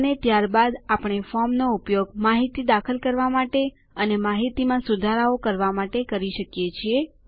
અને ત્યારબાદ આપણે ફોર્મનો ઉપયોગ માહિતી દાખલ કરવા અને માહિતીમાં સુધારાઓ કરવા માટે કરી શકીએ છીએ